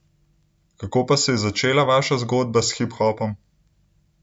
Kako pa se je začela vaša zgodba s hiphopom?